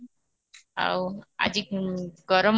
ଆଉ ଆଜି ଗରମ